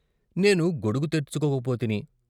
నేను గొడుగు తెచ్చుకోకపోతిని.